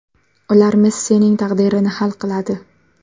Ular Messining taqdirini hal qiladi.